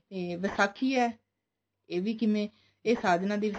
ਤੇ ਵਿਸਾਖੀ ਹੈ ਇਹ ਵੀ ਕਿਵੇਂ ਇਹ ਸਾਧਨਾ ਦੀ